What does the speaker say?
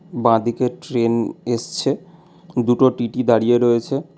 বাঁ দিকে ট্রেন এসছে দুটো টি_টি দাঁড়িয়ে রয়েছে।